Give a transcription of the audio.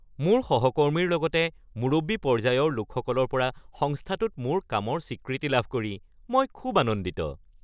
মোৰ সহকৰ্মীৰ লগতে মুৰব্বী পৰ্যায়ৰ লোকসকলৰ পৰা সংস্থাটোত মোৰ কামৰ স্বীকৃতি লাভ কৰি মই খুব আনন্দিত।